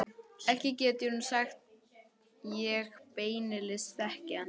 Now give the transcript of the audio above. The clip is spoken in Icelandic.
Ekki get ég nú sagt ég beinlínis þekki hann.